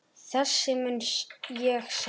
Þessa mun ég sakna.